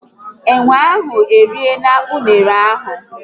Enwe ahu eriela unere ahu